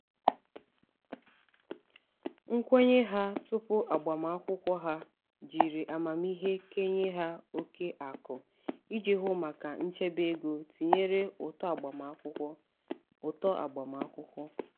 nkwenye ha tupu agbamakwụkwọ ha jiri amamiihe kenye ha oke akụ iji hụ maka nchebe ego tinyere ụtọ agbamakwụkwọ. ụtọ agbamakwụkwọ.